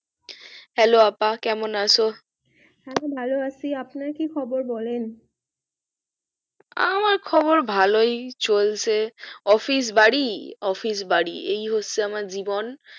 hello আপা কেমন আছো হ্যা ভালো আসি আপনার কি খবর বলেন আমার খবর ভালোই চলছে office বাড়ি office বাড়ি এই হচ্ছে আমার জীবন